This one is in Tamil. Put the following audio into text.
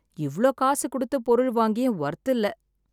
இவ்ளோ காசு கொடுத்தது பொருள் வாங்கியும் ஒர்த் இல்ல.